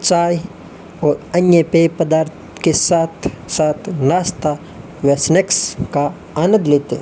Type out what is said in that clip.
चाय और अन्य पेय पदार्थ के साथ साथ नाश्ता व स्नेक्स का आनंद लेते --